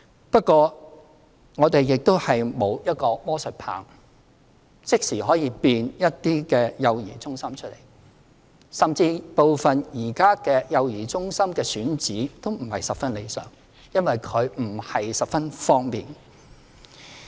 不過，我們沒有魔術棒，即時可以變出一些幼兒中心，甚至部分現有幼兒中心的選址亦不是很理想，因為地點不是十分方便。